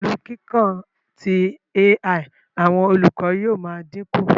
Pẹlu kiikan ti AI, awọn olukọ yóò maa dinku